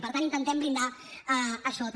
per tant intentem blindar això també